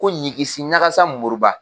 Ko ɲiginsi ɲagansa Moriba